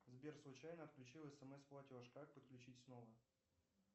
сбер случайно отключил смс платеж как подключить снова